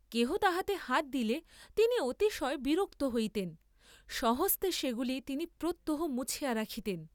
কেহ তাহাতে হাত দিলে তিনি অতিশয় বিরক্ত হইতেন, স্বহস্তে সেগুলি তিনি প্রত্যহ মুছিয়া রাখিতেন।